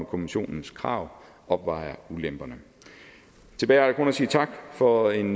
kommissionens krav opvejer ulemperne tilbage er der kun at sige tak for en